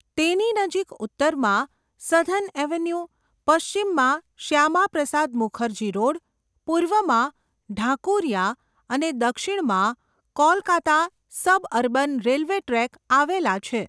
તેની નજીક ઉત્તરમાં સધર્ન એવન્યુ, પશ્ચિમમાં શ્યામાપ્રસાદ મુખર્જી રોડ, પૂર્વમાં ઢાકુરિયા અને દક્ષિણમાં કોલકાતા સબઅર્બન રેલવે ટ્રેક આવેલા છે.